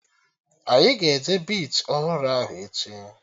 Anyị ga-eje bichi ọhụrụ ahụ echi